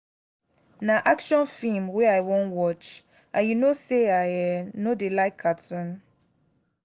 na action film wey i wan watch and you no say i um no dey like cartoon